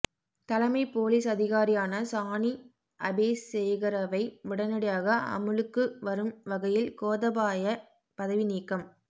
தலைமைப் பொலிஸ் அதிகாரியான சானி அபேசேகரவை உடனடியாக அமுலுக்கு வரும் வகையில் கோதபாய பதவி நீக்கம்